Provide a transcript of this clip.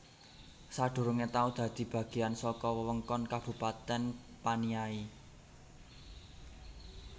Sadurungé tau dadi bagéyan saka wewengkon Kabupatèn Paniai